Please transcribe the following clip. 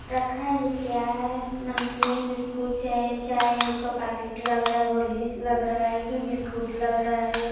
रखा ही क्या है नमकीन बिस्कुट चाय चाय ओय का पैकेट लग रहा होर्लिस लग रहा है इसमें बिस्कुट लग रहा है।